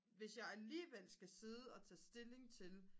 hvis jeg alligevel skal sidde og tage stilling til